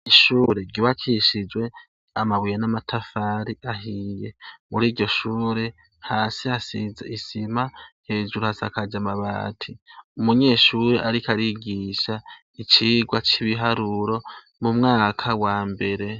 Ishure ryubakishijwe amabuye n'amatafari ahiye. Muri iryoshure, hasi hasize isima hejuru azakaje amabati. Umunyeshuri ariko arigisha icigwa c'ibiharuro mu mwaka wa mbere.